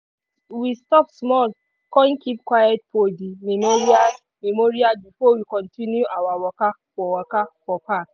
we stop small con keep quiet for di memorial before we continue our waka for waka for park.